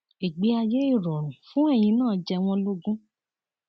ìgbé ayé ìrọrùn fún ẹyin náà jẹ wọn lógún